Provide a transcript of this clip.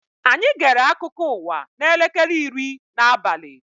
Anyị gere akụkọ ụwa n'elekere iri n'abali